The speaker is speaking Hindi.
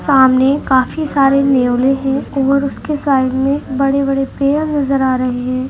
सामने काफी सारे नेवले है और उसके साइड में बड़े बड़े पेड़ नज़र आ रहे हैं।